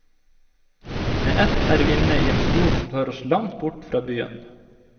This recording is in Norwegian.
Med ett er vi inne i en skog som tar oss langt bort fra byen.